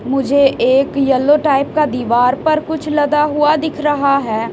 मुझे एक yellow type का दीवार पर कुछ लदा हुआ दिख रहा है।